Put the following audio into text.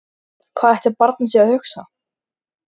Hvað ætli barnið sé að hugsa?